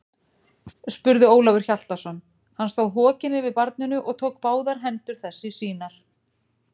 spurði Ólafur Hjaltason, hann stóð hokinn yfir barninu og tók báðar hendur þess í sínar.